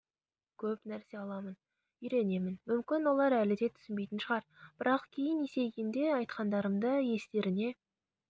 көп нәрсе аламын үйренемін мүмкін олар әлі де түсінбейтін шығар бірақ кейін есейгенде айтқандарымды естеріне